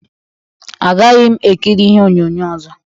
Agaghị m ekịrị ihe onyonyo ọzọ